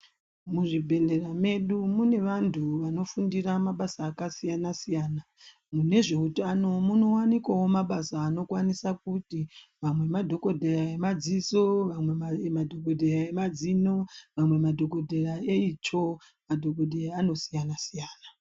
Muzvibhedhlera mwedu mune antu anofundira mabasa akasiyanasiyana. Mune zveutano munowanikwawo mabasa anokwanisa kuti madhokodheya emadziso, vamwe madhokodheya emazino, vamwe madhokodheya etsvo ; madhokodheya anosiyanasiyana.